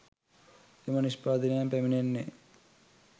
එම නිෂ්පාදනයන් පැමිණෙන්නේ